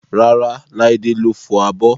Rárá, Laide ló fọ abọ́